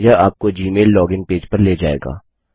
यह आपको Gmail log in page पर ले जाएगा